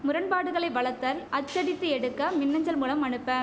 முரண்பாடுகளை வளத்தல் அச்சடித்து எடுக்க மின் அஞ்சல் மூலம் அனுப்ப